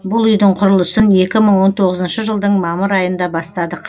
бұл үйдің құрылысын екі мың он тоғызыншы жылдың мамыр айында бастадық